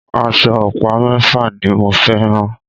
Aṣọ ọ̀pá mẹ́fà ni mo fẹ́ rán.